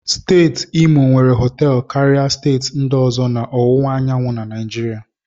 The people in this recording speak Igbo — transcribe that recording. Steeti Imo nwere họtelụ karịa steeti ndị ọzọ na ọwụwa anyanwụ na Naijiria